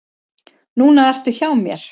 Núna ertu hjá mér.